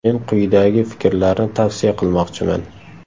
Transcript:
Men quyidagi fikrlarni tavsiya qilmoqchiman.